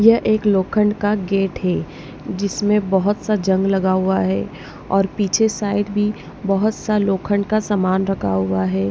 ये एक लोखंड का गेट है जिसमें बहुत सा जंग लगा हुआ है और पीछे साइड भी बहुत सा लोखंड का सामान रखा हुआ है।